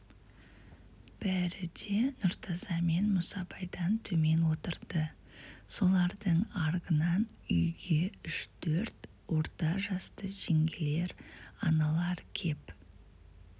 бәрі де нұртаза мен мұсабайдан төмен отырды солардың аргынан үйге үш-төрт орта жасты жеңгелер аналар кеп